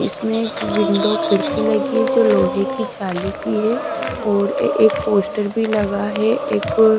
इसमें एक विंडो खिड़की लगी है जो लोहे की जाली की है और एक पोस्टर भी लगा है एक--